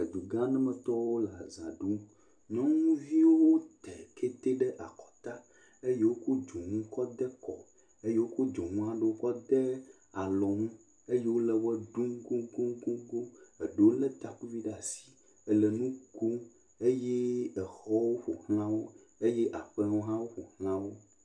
Edugãa aɖemetɔwo le azã ɖum. Nyɔnuviwo tɛkete ɖe akɔta eye wokɔ dzonu kɔ de kɔ. Eye wokɔ dzonua ɖewo kɔ de alɔnu eye wole wɔ ɖum koŋkoŋkoŋkoŋ. Eɖewo lé takuvi ɖe asi le nu kom eye exɔwo ƒo ʋlã wo eye aƒewo hã woƒo ʋlã wo.